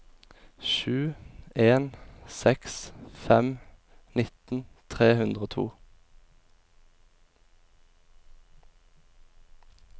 sju en seks fem nitten tre hundre og to